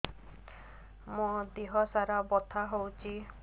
ମୋ ଦିହସାରା ବଥା ହଉଚି